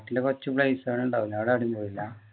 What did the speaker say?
നാട്ടില് കുറച്ചു place കൾ ഉണ്ടാവൂലെ ഇ=അവിടെ എവിടേം പോയില്ല